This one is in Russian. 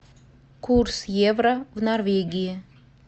курс евро в норвегии